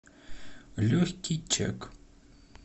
легкий чек